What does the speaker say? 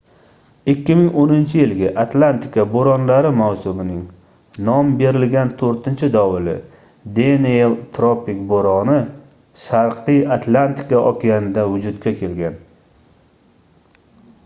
2010-yilgi atlantika boʻronlari mavsumining nom berilgan toʻrtinchi dovuli deniel tropik boʻroni sharqiy atlantika okeanida vujudga kelgan